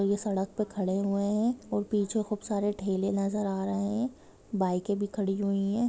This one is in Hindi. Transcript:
ये सड़क पे खड़े हुए है और पीछे खूब सारे ठेले नजर आ रहै है बाइके भी खड़ी हुई है।